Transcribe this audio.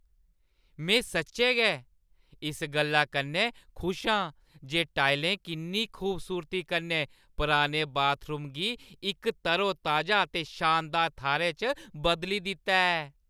में सच्चें गै इस गल्ला कन्नै खुश आं जे टाइलें किन्नी खूबसूरती कन्नै पुराने बाथरूम गी इक तरोताजा ते शानदार थाह्‌रै च बदली दित्ता ऐ।